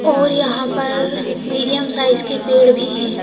और यहाँ पर मीडियम साइज के पेड़ भी हैं।